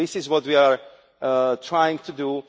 This is what we are trying to do.